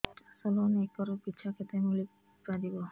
ଚାଷ loan acre ପିଛା କେତେ ମିଳି ପାରିବ